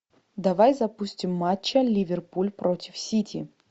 давай запустим матч ливерпуль против сити